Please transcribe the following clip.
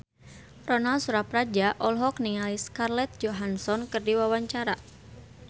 Ronal Surapradja olohok ningali Scarlett Johansson keur diwawancara